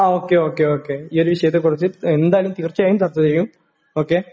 Okay, ഓക്കേ.ഓക്കേ.ഈ ഒരു വിഷയത്തെക്കുറിച്ച് എന്തായാലും തീർച്ചയായും ചർച്ച ചെയ്യും. ഓക്കേ?